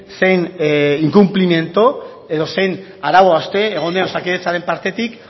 zein inkunplimendu edo zein arau hauste egon den osakidetzaren partetik